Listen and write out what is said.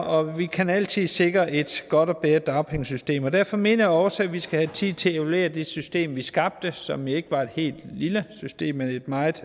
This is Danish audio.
og vi kan altid sikre et godt eller bedre dagpengesystem og derfor mener jeg også at vi skal have tid til at evaluere det system vi skabte som jo ikke var et helt lille system men et meget